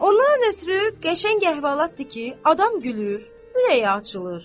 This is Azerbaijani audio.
Ondan ötrü qəşəng əhvalatdır ki, adam gülür, ürəyi açılır.